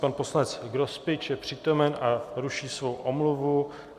Pan poslanec Grospič je přítomen a ruší svou omluvu.